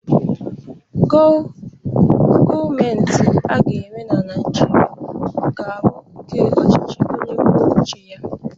Gọmentị aga enwe na Naijiria ga bụ nke ọchichi onye kwọ ụche ya.